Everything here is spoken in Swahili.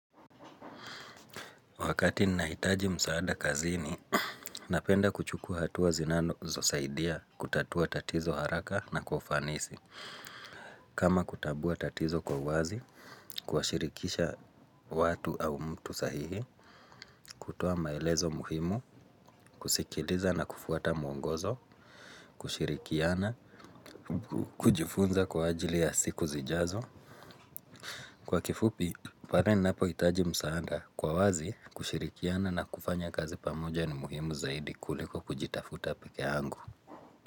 Wakati nahitaji msaada kazini, napenda kuchukuwa hatuwa zinazosaidia kutatua tatizo haraka na kwa ufanisi. Kama kutabua tatizo kwa uwazi, kuwashirikisha watu au mtu sahihi, kutoa maelezo muhimu, kusikiliza na kufuata mwongozo, kushirikiana, kujifunza kwa ajili ya siku zijazo. Kwa kifupi, pare ninapohitaji msaanda kwa wazi kushirikiana na kufanya kazi pamoja ni muhimu zaidi kuliko kujitafuta pekee yangu.